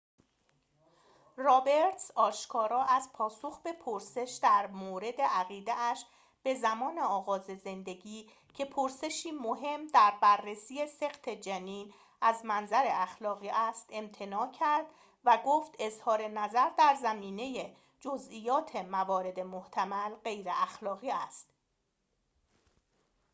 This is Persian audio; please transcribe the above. رابرتز آشکارا از پاسخ به پرسش درمورد عقیده‌اش به زمان آغاز زندگی که پرسشی مهم در بررسی سقط جنین از منظر اخلاقی است امتناع کرد و گفت اظهارنظر در زمینه جزئیات موارد محتمل غیراخلاقی است